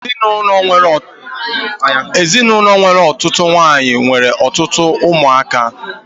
Ezinaụlọ nwere ọtụtụ nwaanyị n'enwe ọtụtụ ụmụ aka